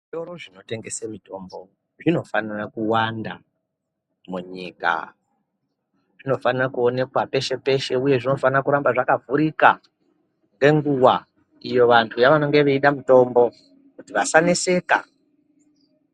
Zvitoro zvinotengese mitombo zvinofanira kuwanda munyika. Zvinofanira kuoneka peshe-peshe uye zvinofana kuramba zvakavhurika, ngenguva ,iyo vantu vanenge veida mitombo, kuti vasaneseka.